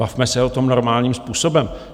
Bavme se o tom normálním způsobem.